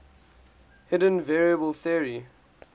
hidden variable theory